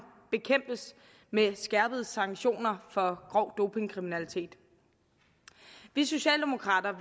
bekæmpes med skærpede sanktioner for grov dopingkriminalitet vi socialdemokrater